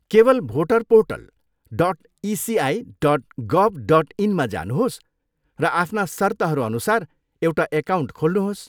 केवल voter portal dot ECI dot gov dot इनमा जानुहोस् र आफ्ना सर्तहरू अनुसार एउटा एकाउन्ट खोल्नुहोस्।